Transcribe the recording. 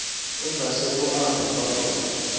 ongasekho abhubha khona